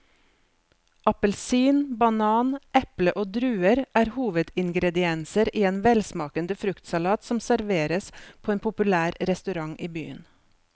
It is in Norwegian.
Appelsin, banan, eple og druer er hovedingredienser i en velsmakende fruktsalat som serveres på en populær restaurant i byen.